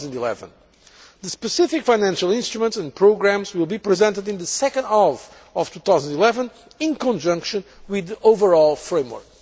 mid 2011. The specific financial instruments and programmes will be presented in the second half of 2011 in conjunction with the overall framework.